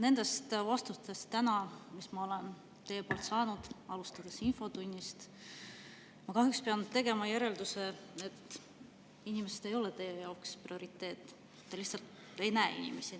Nendest vastustest, mis ma olen täna teilt saanud, alustades infotunnist, ma kahjuks pean tegema järelduse, et inimesed ei ole teie jaoks prioriteet, te lihtsalt ei näe inimesi.